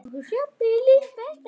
Hann brosti.